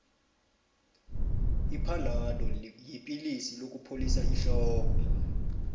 iphanado yipilisi lokupholisa ihloko